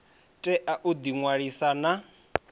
tea u ḓi ṅwalisa na